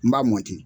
N b'a mɔti